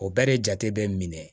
O bɛɛ de jate bɛ minɛ